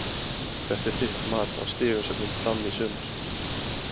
Hvert er þitt mat á stigasöfnun Fram í sumar?